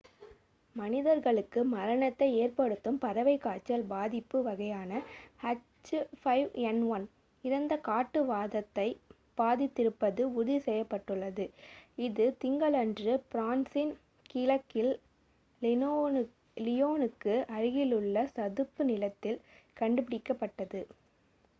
மனிதர்களுக்கு மரணத்தை ஏற்படுத்தும் பறவைக் காய்ச்சல் பாதிப்பு வகையான h5n1 இறந்த காட்டு வாத்தைப் பாதித்திருப்பது உறுதி செய்யப்பட்டுள்ளது இது திங்களன்று பிரான்சின் கிழக்கில் லியோனுக்கு அருகிலுள்ள சதுப்பு நிலத்தில் கண்டுபிடிக்கப்பட்டது